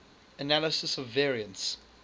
analysis of variance